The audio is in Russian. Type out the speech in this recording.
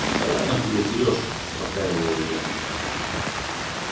да ладно тебе сереж успокаиваю я